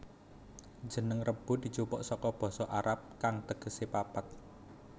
Jeneng Rebo dijupuk saka basa Arab kang tegese papat